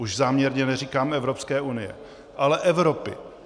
Už záměrně neříkám Evropské unie, ale Evropy.